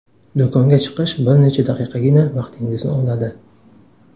Do‘konga chiqish bir necha daqiqagina vaqtingizni oladi.